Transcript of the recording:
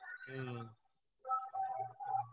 ହୁଁ।